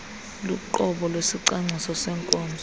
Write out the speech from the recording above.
luqobo lwesicwangciso seenkonzo